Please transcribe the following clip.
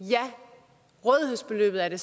hvad det